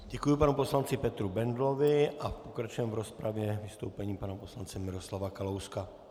Děkuji panu poslanci Petru Bendlovi a pokračujeme v rozpravě vystoupením pana poslance Miroslava Kalouska.